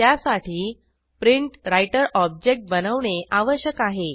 त्यासाठी PrintWriter object बनवणे आवश्यक आहे